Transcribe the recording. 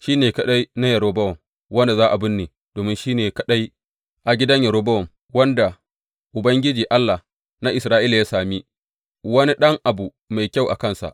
Shi ne kaɗai na Yerobowam wanda za a binne, domin shi ne kaɗai a gidan Yerobowam wanda Ubangiji, Allah na Isra’ila ya sami wani ɗan abu mai kyau a kansa.